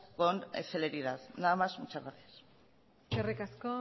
con celeridad nada más muchas gracias eskerrik asko